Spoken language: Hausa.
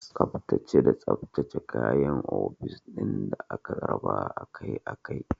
Tsaftace da tsaftace kayan ofis ɗin da aka raba akai akai.